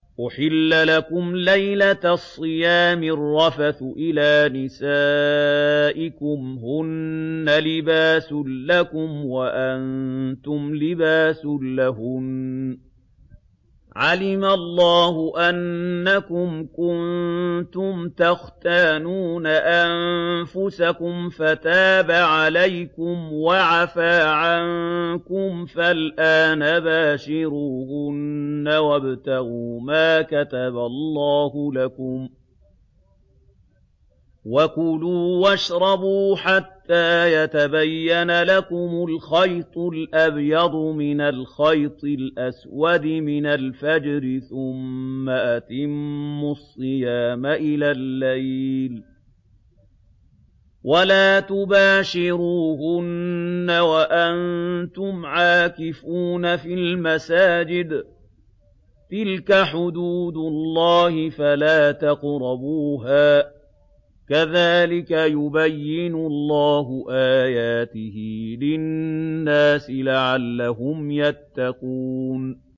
أُحِلَّ لَكُمْ لَيْلَةَ الصِّيَامِ الرَّفَثُ إِلَىٰ نِسَائِكُمْ ۚ هُنَّ لِبَاسٌ لَّكُمْ وَأَنتُمْ لِبَاسٌ لَّهُنَّ ۗ عَلِمَ اللَّهُ أَنَّكُمْ كُنتُمْ تَخْتَانُونَ أَنفُسَكُمْ فَتَابَ عَلَيْكُمْ وَعَفَا عَنكُمْ ۖ فَالْآنَ بَاشِرُوهُنَّ وَابْتَغُوا مَا كَتَبَ اللَّهُ لَكُمْ ۚ وَكُلُوا وَاشْرَبُوا حَتَّىٰ يَتَبَيَّنَ لَكُمُ الْخَيْطُ الْأَبْيَضُ مِنَ الْخَيْطِ الْأَسْوَدِ مِنَ الْفَجْرِ ۖ ثُمَّ أَتِمُّوا الصِّيَامَ إِلَى اللَّيْلِ ۚ وَلَا تُبَاشِرُوهُنَّ وَأَنتُمْ عَاكِفُونَ فِي الْمَسَاجِدِ ۗ تِلْكَ حُدُودُ اللَّهِ فَلَا تَقْرَبُوهَا ۗ كَذَٰلِكَ يُبَيِّنُ اللَّهُ آيَاتِهِ لِلنَّاسِ لَعَلَّهُمْ يَتَّقُونَ